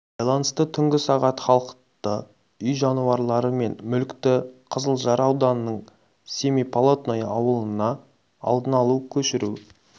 байланысты түнгі сағат халықты үй жануарлары мен мүлікті қызылжар ауданының семиполатное ауылына алдын алу көшіру